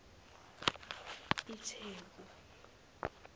itheku